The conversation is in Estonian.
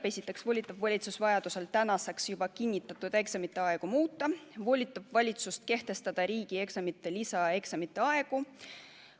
See volitab valitsust juba kinnitatud eksamite aegu vajaduse korral muutma ja määrama riigieksamite lisaeksamite aegu.